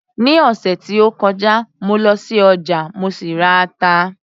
Ní ọ̀sẹ̀ tí ó kọjá mo lọ sí ọjà, mo sì ra ata